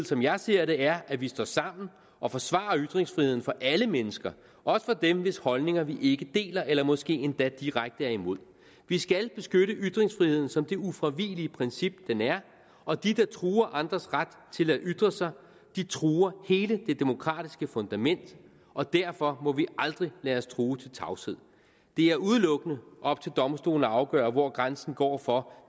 som jeg ser det er at vi står sammen og forsvarer ytringsfriheden for alle mennesker også for dem hvis holdninger vi ikke deler eller måske endda direkte er imod vi skal beskytte ytringsfriheden som det ufravigelige princip den er og de der truer andres ret til at ytre sig truer hele det demokratiske fundament og derfor må vi aldrig lade os true til tavshed det er udelukkende op til domstolene at afgøre hvor grænsen går for